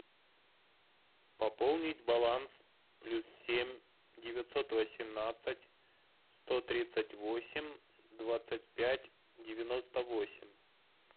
пополнить баланс плюс семь девятьсот восемнадцать сто тридцать восемь двадцать пять девяносто восемь